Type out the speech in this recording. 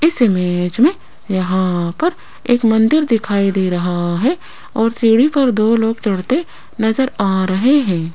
इस इमेज में यहां पर एक मंदिर दिखाई दे रहा है और सीढ़ी पर दो लोग चढ़ते नजर आ रहे हैं।